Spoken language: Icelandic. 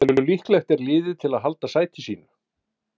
Hversu líklegt er liðið til að halda sæti sínu?